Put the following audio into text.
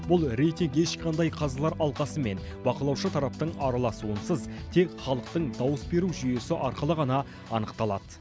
бұл рейтинг ешқандай қазылар алқасы мен бақылаушы тараптың араласуынсыз тек халықтың дауыс беру жүйесі арқылы ғана анықталады